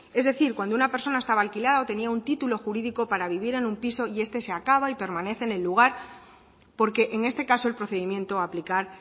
es decir cuando una persona estaba alquilada o tenía un título jurídico para vivir en un piso y este se acaba y permanece en el lugar porque en este caso el procedimiento a aplicar